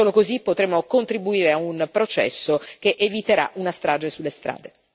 Solo così potremo contribuire a un processo che eviterà una strage sulle strade.